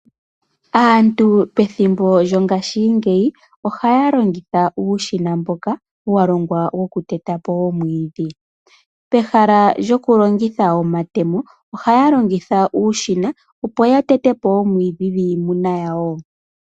Aantu pethimbo djo ngaashingeyi ohaya longitha uushina, mboka wa longwa woku tetapo omwiidhi. Pehala djoku longitha omatemo ohaya longitha uushina, opo ya tetepo gwiimuna yawo.